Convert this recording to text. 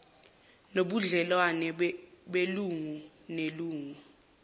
nobudlelwano belungu nelungu